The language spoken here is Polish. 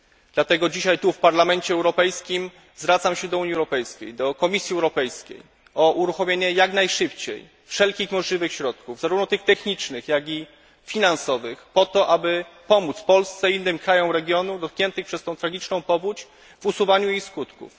Dlatego dzisiaj tu, w Parlamencie Europejskim, zwracam się do Unii Europejskiej, do Komisji Europejskiej o jak najszybsze uruchomienie wszelkich możliwych środków, zarówno tych technicznych, jak i finansowych po to, aby pomóc Polsce i innym krajom regionu, dotkniętym przez tę tragiczną powódź w usuwaniu jej skutków.